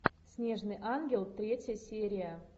снежный ангел третья серия